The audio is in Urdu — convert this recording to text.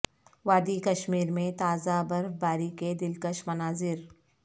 وادی کشمیر میں تازہ برف باری کے دلکش مناظر